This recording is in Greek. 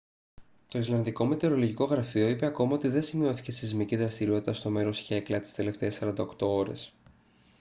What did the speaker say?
το ισλανδικό μετεωρολογικό γραφείο είπε ακόμα ότι δεν σημειώθηκε σεισμική δραστηριότητα στο μέρος χέκλα τις τελευταίες 48 ώρες